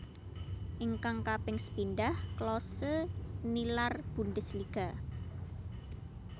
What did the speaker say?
Ingkang kaping sepindhah Klose nilar Bundesliga